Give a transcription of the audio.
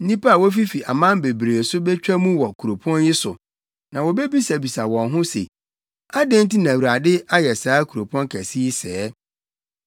“Nnipa a wofifi aman bebree so betwa mu wɔ kuropɔn yi so, na wobebisabisa wɔn ho wɔn ho se, ‘Adɛn nti na Awurade ayɛ saa kuropɔn kɛse yi sɛɛ?’